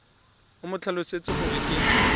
o mo tlhalosetse gore ke